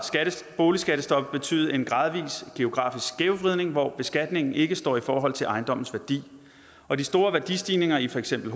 boligskattestoppet betydet en gradvis geografisk skævvridning hvor beskatningen ikke står i forhold til ejendommens værdi og de store værdistigninger i for eksempel